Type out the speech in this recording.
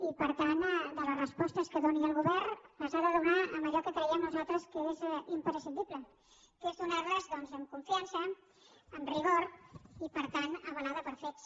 i per tant les respostes que doni el govern les ha de donar amb allò que creiem nosaltres que és imprescindible que és donar les doncs amb confiança amb rigor i per tant avalades per fets